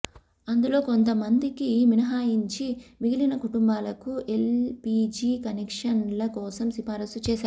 అందులో కొంతమందికి మినహాయించి మిగిలిన కుటుంబాలకు ఎల్పీజీ కనెక్షన్ల కోసం సిఫారసు చేశాయి